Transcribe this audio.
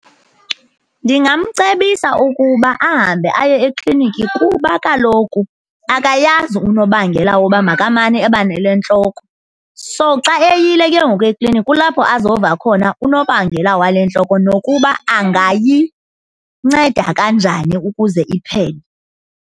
Ndingamcebisa ukuba ahambe aye ekliniki kuba kaloku akayazi unobangela woba makamane ebanale ntloko. So, xa eyile ke ngoku eklinikhi kulapho azofa khona unobangela wale ntloko nokuba angayinceda kanjani ukuze iphele.